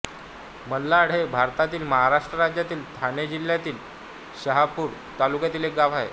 मालाड हे भारतातील महाराष्ट्र राज्यातील ठाणे जिल्ह्यातील शहापूर तालुक्यातील एक गाव आहे